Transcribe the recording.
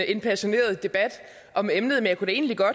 en passioneret debat om emnet